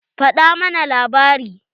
Faɗa mana labari.